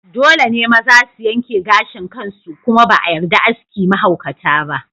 Dole ne maza su yanke gashin kansu kuma ba a yarda aski mahaukata ba.